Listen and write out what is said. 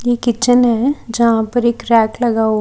ये किचन है जहां पर एक रैक लगा हु--